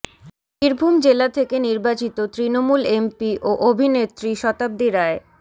বীরভূম জেলা থেকে নির্বাচিত তৃণমূল এমপি ও অভিনেত্রী শতাব্দী রায়